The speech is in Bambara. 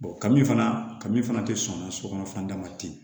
kami fana kami fana te sɔn sokɔnɔnada ma ten